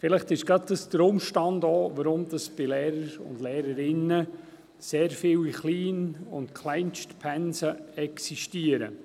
Vielleicht ist dies auch gerade der Umstand, weshalb bei Lehrern und Lehrerinnen sehr viele Klein- und Kleinstpensen existieren.